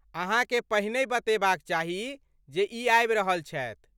अहाँकेँ पहिनहि बतेबाक चाही जे ई आबि रहल छथि।